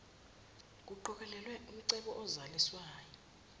nkuqokelelwe umcebo ozaliswayo